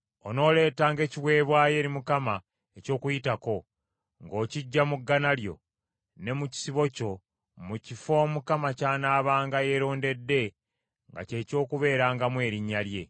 Onooleetanga ekiweebwayo eri Mukama eky’Okuyitako, ng’okiggya mu ggana lyo, ne mu kisibo kyo mu kifo Mukama ky’anaabanga yerondedde nga kye ky’okubeerangamu Erinnya lye.